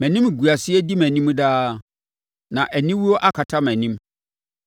Mʼanimguaseɛ di mʼanim daa, na aniwuo akata mʼanim